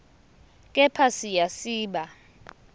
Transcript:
kepha siya siba